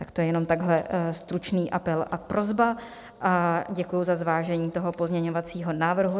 Tak to je jenom takhle stručný apel a prosba a děkuji za zvážení toho pozměňovacího návrhu.